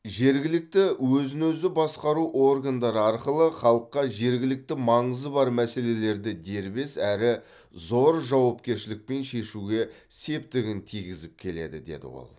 жергілікті өзін өзі басқару органдары арқылы халыққа жергілікті маңызы бар мәселелерді дербес әрі зор жауапкершілікпен шешуге септігін тигізіп келеді деді ол